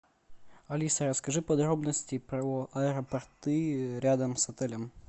алиса расскажи подробности про аэропорты рядом с отелем